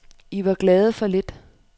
I var glade for lidt.